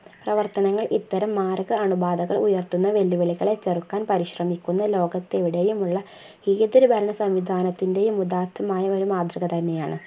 പ്രവർത്തനങ്ങൾ ഇത്തരം മാർഗ അണുബാധകൾ ഉയർത്തുന്ന വെല്ലുവിളികളെ ചെറുക്കാൻ പരിശ്രമിക്കുന്ന ലോകത്തെവിടെയുമുള്ള ഏത് ഒരു നല്ല സംവിധാനത്തിന്റെയും ഉദാത്തമായ ഒരു മാതൃകതന്നെയാണ്